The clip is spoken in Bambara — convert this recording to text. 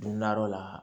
Nadɔ la